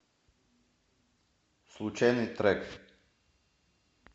случайный трек